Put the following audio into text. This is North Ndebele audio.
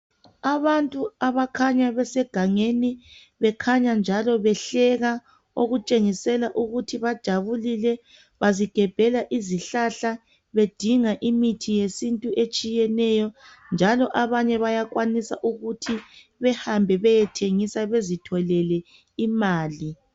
Abantu abakhanya besegangeni bekhanya njalo behleka okutshengisela ukuthi bajabulile bazigebhela izihlahla bedinga imithi yesintu etshiyeneyo njalo abanye bayakwanisa ukuthi behambe beyethengisa bezitholele imali.